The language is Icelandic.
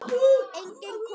Enginn kom.